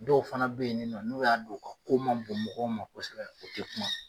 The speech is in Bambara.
Dɔw fana be yen ni nɔ, n'o y'a dɔn u ka ko man bon mɔgɔw ma kosɛbɛ u te kuma.